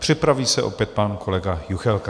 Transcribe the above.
Připraví se opět pan kolega Juchelka.